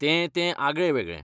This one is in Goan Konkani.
तें तें आगळें वेगळें.